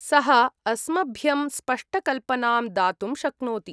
सः अस्मभ्यं स्पष्टकल्पनां दातुं शक्नोति।